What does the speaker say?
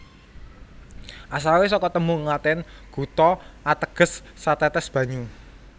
Asale saka tembung Latin gutta ateges satetes banyu